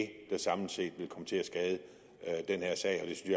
det der samlet set vil komme til at skade den her sag og